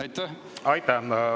Aitäh!